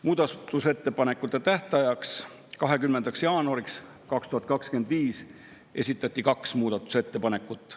Muudatusettepanekute tähtajaks, 20. jaanuariks 2025 esitati kaks muudatusettepanekut.